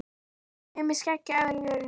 Mig með skegg á efri vörinni.